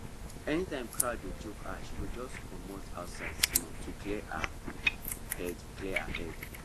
anytime crowd dey choke her she go just comot outside small to clear her head clear her head